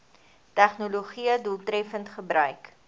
tegnologië doeltreffend gebruik